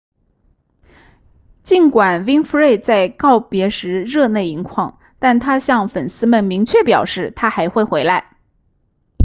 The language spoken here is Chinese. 尽管 winfrey 在告别时热泪盈眶但她向粉丝们明确表示她还会回来